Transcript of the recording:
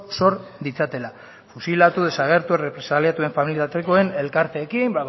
sor ditzatela fusilatu desagertu errepresaliatuen familia artekoen elkarteekin